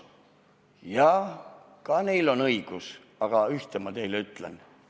Jah, neil on ka õigus, aga ühte ma teile ütlen.